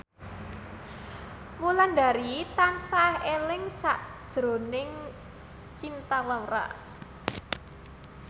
Wulandari tansah eling sakjroning Cinta Laura